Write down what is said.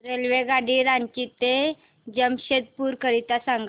रेल्वेगाडी रांची ते जमशेदपूर करीता सांगा